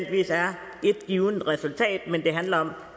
ét givent resultat men hvor det handler om